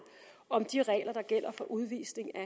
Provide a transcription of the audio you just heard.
om de regler der gælder for udvisning af